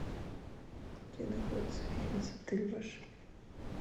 где находится фитнес отель ваш